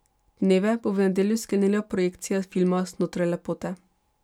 Dneve bo v nedeljo sklenila projekcija filma Znotraj lepote.